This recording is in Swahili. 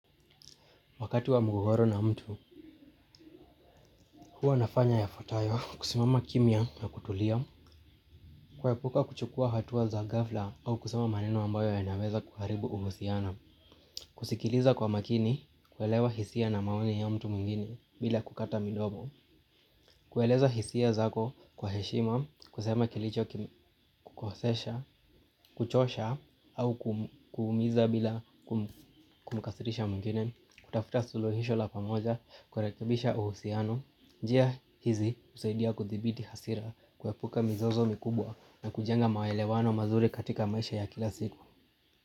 Wakati wa mgogoro na mtu, huwa nafanya yafuatayo, kusimama kimya na kutulia, kuepuka kuchukua hatua za ghafla au kusema maneno ambayo yanaweza kuharibu uhusiano, kusikiliza kwa makini, kuelewa hisia na maoni ya mtu mwingine bila kukata midomo, kueleza hisia zako kwa heshima, kusema kilicho kukosesha, kuchosha au kuumiza bila kumkasirisha mwingine, kutafuta suluhisho la pamoja, kurekebisha uhusiano, njia hizi husaidia kuthibiti hasira kuepuka mizozo mikubwa na kujenga maelewano mazuri katika maisha ya kila siku.